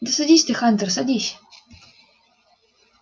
да садись ты хантер садись